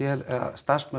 starfsmenn